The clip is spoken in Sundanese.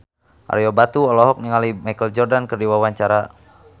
Ario Batu olohok ningali Michael Jordan keur diwawancara